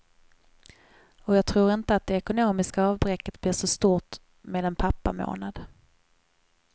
Och jag tror inte att det ekonomiska avbräcket blir så stort med en pappamånad.